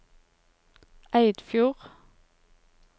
Eidfjord